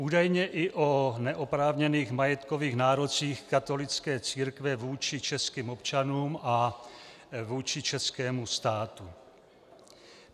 Údajně i o neoprávněných majetkových nárocích katolické církve vůči českým občanům a vůči českému státu.